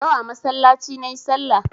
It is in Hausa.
Yau a masallaci nayi sallah